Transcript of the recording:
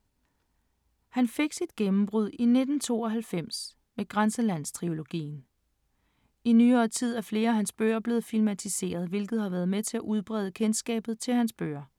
Han fik sit gennembrud i 1992 med Grænselandstrilogien. I nyere tid er flere af hans bøger blevet filmatiseret, hvilket har været med til at udbrede kendskabet til hans bøger.